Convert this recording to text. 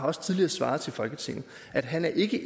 også tidligere svaret folketinget at han ikke